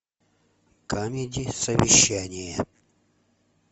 камеди совещание